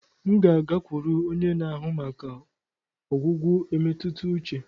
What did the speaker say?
M ga-agakwuru onye na-ahụ maka ọgwụgwọ emetuta uche.